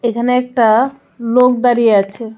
এখানে একটা লোক দাঁড়িয়ে আছে.